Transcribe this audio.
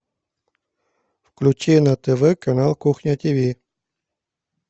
включи на тв канал кухня тв